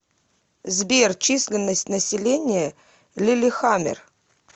сбер численность населения лиллехаммер